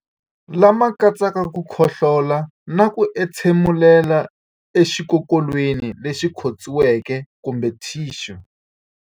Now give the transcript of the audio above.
Lama katsaka ku khohlola na ku entshemulela exikokolweni lexi khotsiweke kumbe thixu.